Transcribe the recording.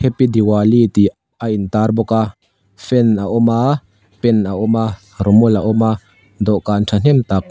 diwali tih a intar bawk a fan a awm a pen a awm a rawmawl a awm a dawhkan thahnem tak--